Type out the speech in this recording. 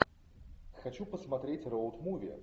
хочу посмотреть роуд муви